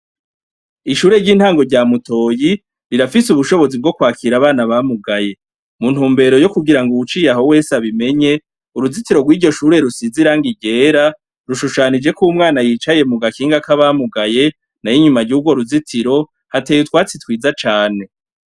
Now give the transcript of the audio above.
Ishure ry'intango rya mutoyi rirafise ubushobozi bwokwakira abana bamugaye muntumbero yokugira ngo uwuciye ngaho wese abimenye uruzitiro rw'iryo shure rusize irangi ryera rushushanijeko umwana yicaye mu gakinga kabamugaye nayo inyuma y'urwo ruzitiro hateye utwatsi twiza cane.